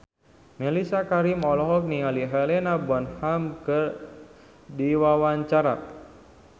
Mellisa Karim olohok ningali Helena Bonham Carter keur diwawancara